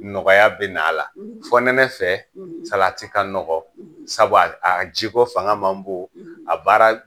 Nɔgɔya bɛ a la; ; fɔ nɛnɛ fɛ; salati ka nɔgɔ; ; sabu a jiko fanga man bon; ; a baara